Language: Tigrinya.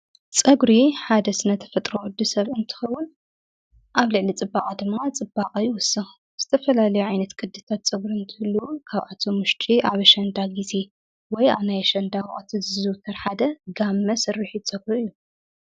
ጸጕሪ ሓደ ተፈጥሮ ፈጥረወዱ ሰብኢ እንትኽውን ኣብ ልዕሊ ጽባዓ ድማ ጽባቕ ኣይወስቕ ዝተፈላልዮ ዓይነት ቅድታት ጸጕሪ እንትሉ ካብኣቶ ሙሽቂ ኣብሸንዳ ጊዜ ወይ ናይሸንዳ ዙ ተርሓደ ጋብመ ስርኁት ጸጕሩ እዩ።